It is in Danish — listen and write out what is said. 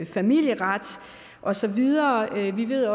familieret og så videre vi ved